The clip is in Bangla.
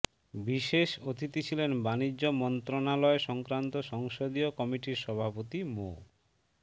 বিশেষ অতিথি ছিলেন বাণিজ্য মন্ত্রণালয় সংক্রান্ত সংসদীয় কমিটির সভাপতি মো